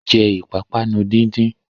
Jẹ́ ìpápánu díndín!